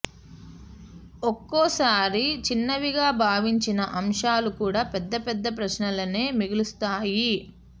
ఒక్కోసారి చిన్నవిగా భావించిన అంశాలు కూడా పెద్ద పెద్ద ప్రశ్నలనే మిగులుస్తాయి